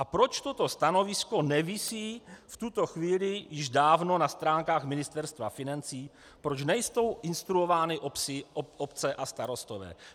A proč toto stanovisko nevisí v tuto chvíli již dávno na stránkách Ministerstva financí, proč nejsou instruovány obce a starostové?